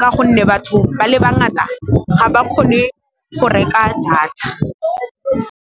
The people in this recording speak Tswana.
ka gonne batho ba le bangata ga ba kgone go reka data.